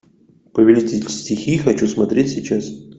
повелитель стихий хочу смотреть сейчас